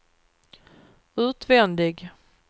utvändig